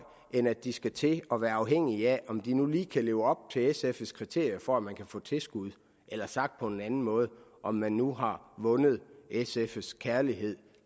end at de skal til at være afhængige af om de nu lige kan leve op til sfs kriterier for at man kan få tilskud eller sagt på en anden måde om man nu har vundet sfs kærlighed